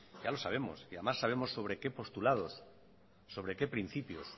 ya lo sabemos y además sabemos sobre qué postulados sobre qué principios